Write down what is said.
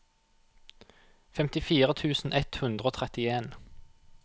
femtifire tusen ett hundre og trettien